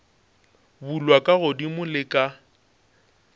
bulwa ka godimo le ka